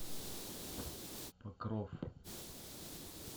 покров